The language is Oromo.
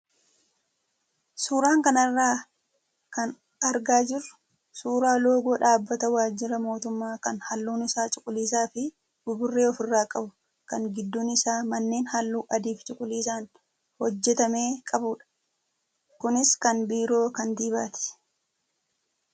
Suuraa kanarraa kan argaa jirru suuraa loogoo dhaabbata waajjira mootummaa kan halluun isaa cuquliisaa fi buburree ofirraa qabu kan gidduun isaa manneen halluu adii fi cuquliisaan hojjatame qabudha. Kunis kan biiroo kantiibaati.